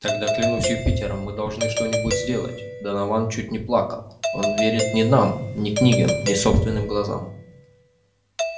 тогда клянусь юпитером мы должны что-нибудь сделать донован чуть не плакал он верит ни нам ни книгам ни собственным глазам